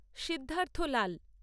Siddharth Lal